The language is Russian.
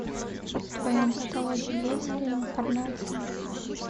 в твоем каталоге есть реинкарнация